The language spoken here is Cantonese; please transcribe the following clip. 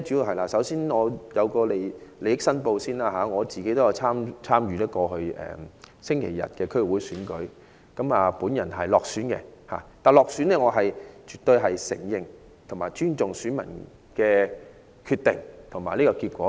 我首先作利益申報，我也有參與上星期日的區議會選舉，我落選了，但我絕對承認及尊重選民的決定及選舉結果。